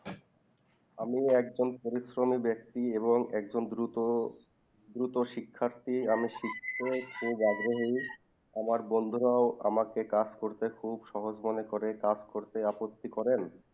আমি একদম পরিশ্রমিক ব্যাক্তি এবং দ্রুত দ্রুত শিক্ষার্থী আমি শিখতে খুব আগ্রহী আমার বন্ধুরও আমাকে কাজ করতে খুব সহজ মনে করে কাজ করতে আপত্তি করেন